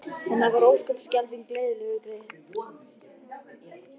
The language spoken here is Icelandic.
En hann var ósköp og skelfing leiðinlegur greyið.